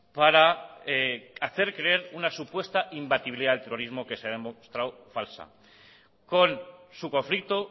para hacer creer una supuesta imbatibilidad del terrorismo que se ha demostrado falsa con su conflicto